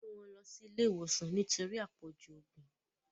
Wón gbé ló sì ilé ìwòsàn nítorí apọju oògùn.